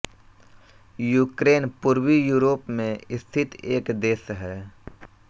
Ukraine पूर्वी Europe में स्थित एक देश है